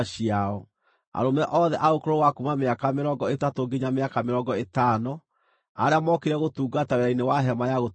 Arũme othe a ũkũrũ wa kuuma mĩaka mĩrongo ĩtatũ nginya mĩaka mĩrongo ĩtano arĩa mookire gũtungata wĩra-inĩ wa Hema-ya-Gũtũnganwo,